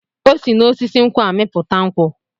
O si n'osisi nkwụ amịpụta nkwụ.